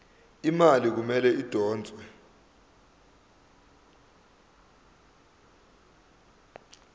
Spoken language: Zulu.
imali kumele idonswe